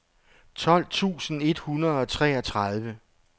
tolv tusind et hundrede og treogtredive